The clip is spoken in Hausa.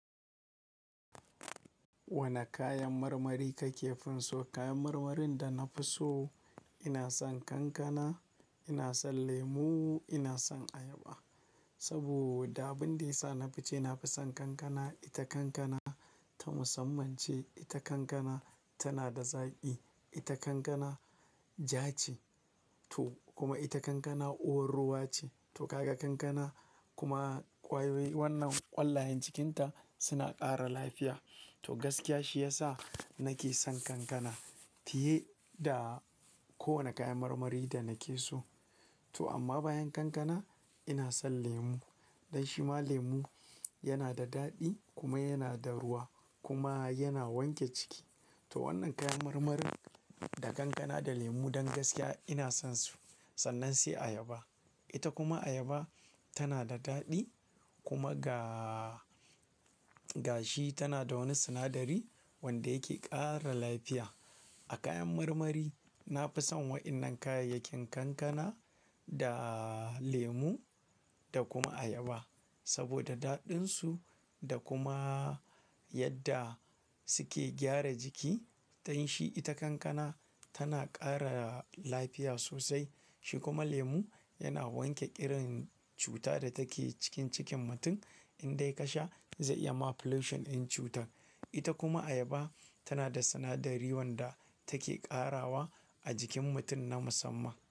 Wane kayan marmari kake finso? Kayan marmarin da na fi so, ina son kankana, ina son lemu, ina son ayaba. Saboda abin da ya sa na fi ce, na fi son kankana. Ita kankana ta musamman ce. Ita kankana tana da zaƙi. Ita kankana ja ce to kuma ita kankana uwar ruwa ce. To kaga kankana kuma ƙwayoyi wannan ƙwallayen cikinta suna ƙara lafiya. To gaskiya shi ya sa nake son kankana fiye da kowane kayan marmari da nake so. To amma bayan kankana ina son lemu. Dan shi ma lemu yana da daɗi kuma yana da ruwa kuma yana wanke ciki. To wannan kayan marmarin da kankana da lemu don gaskiya ina son su. Sannan sai ayaba. Ita kuma ayaba tana da daɗi kuma ga, ga shi tana da wani sinadari wanda yake ƙara lafiya. A kayan marmari, na fi son waɗannan kayayyakin kankana da lemu da kuma ayaba. Saboda daɗinsu da kuma yadda suke gyara jiki. Dan shi ita kankana tana ƙara lafiya sosai. Shi kuma lemu yana wanke ƙirin cuta da take cikin cikin mutum. Indai ka sha zai iya ma plushin ɗin cutar. Ita kuma ayaba tana da sinadari wanda take ƙarawa a jikin mutum na musamman.